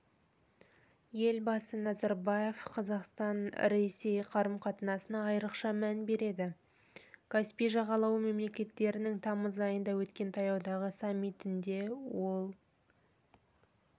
елбасы назарбаев қазақстан-ресей қарым-қатынасына айрықша мән береді каспий жағалауы мемлекеттерінің тамыз айында өткен таяудағы саммитінде ол